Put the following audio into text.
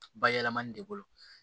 Bayɛlɛmani de bolo